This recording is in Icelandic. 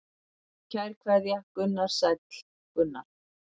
Kær kveðja Gunnar Sæll Gunnar.